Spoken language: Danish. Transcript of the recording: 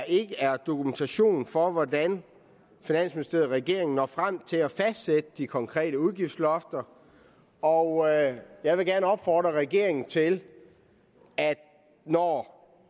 ikke er dokumentation for hvordan finansministeriet og regeringen når frem til at fastsætte de konkrete udgiftslofter og jeg vil gerne opfordre regeringen til når